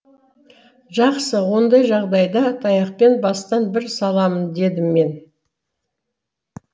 жақсы ондай жағдайда таяқпен бастан бір саламын дедім мен